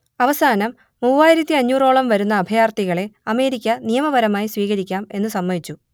അവസാനം മൂവായിരത്തിയഞ്ഞൂറോളം വരുന്ന അഭയാർത്ഥികളെ അമേരിക്ക നിയമപരമായി സ്വീകരിക്കാം എന്നു സമ്മതിച്ചു